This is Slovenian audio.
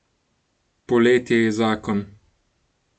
Poletje je zakon!